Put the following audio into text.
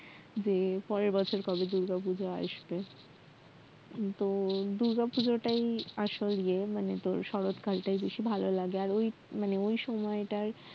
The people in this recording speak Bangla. যে পরের বছর কবে দুর্গাপূজা আসবে তো দুর্গাপূজাটাই আসল ইয়ে মানে শরৎ কালটাই বেশি ভাললাগে আর ওই ওই সময়টার